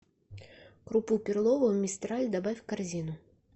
крупу перловую мистраль добавь в корзину